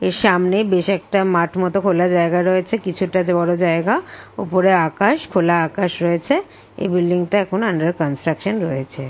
এ সামনে বেশ একটা মাঠ মতো খোলা জায়গা রয়েছে। কিছুটা বড় জায়গা ওপরে আকাশ খোলা আকাশ রয়েছে এ ব্লিডিং - টা আন্ডার কন্সট্রাকশান রয়েছে।